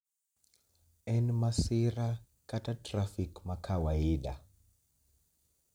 en masira kata trafik ma kawaida